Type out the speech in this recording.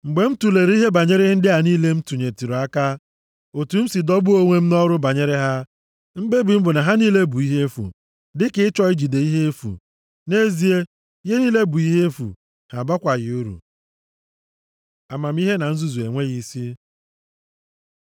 Mgbe m tulere ihe banyere ihe ndị a niile m tinyetụrụ aka, otu m si dọgbuo onwe m nʼọrụ banyere ha, mkpebi m bụ na ha niile bụ ihe efu, dịka ịchọ ijide ifufe. Nʼezie, ihe niile bụ ihe efu, ha abakwaghị uru. Amamihe na nzuzu enweghị isi